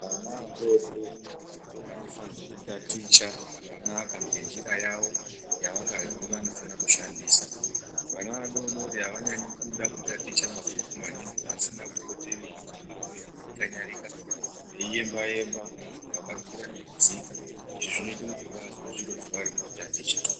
Vana vadodori vanofanirwa kutaticha zvakanaka ngenjira yawo yavakazwi vanofanira kushandisa .Vana vadodori avanyanyi kuda kutaticha mabhuku maningi pasina kupote veite zvimweni zvekukanyarika veiemba emba vakakwira nekudzika izvi zvinoita kuti vazwe zviro zvavarikutaticha.